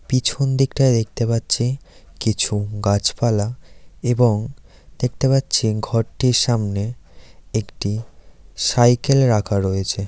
পিছন দিকটায় দেখতে পাচ্ছি কিছু গাছপালা এবং দেখতে পাচ্ছি ঘরটির সামনে একটি সাইকেল রাখা রয়েছে।